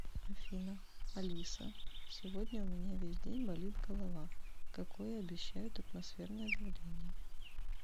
афина алиса сегодня у меня весь день болит голова какое обещают атмосферное давление